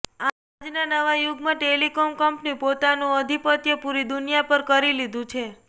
આજના નવા યુગમાં ટેલિકોમ કંપની પોતાનું અધીપત્ય પુરી દુનિયા પર કરી લીધું છે